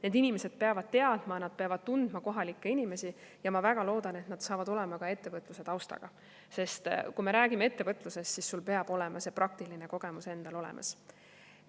Need inimesed peavad teadma ja tundma kohalikke inimesi ja ma väga loodan, et nad saavad olema ka ettevõtluse taustaga, sest kui me räägime ettevõtlusest, siis sul peab olema see praktiline kogemus endal olemas.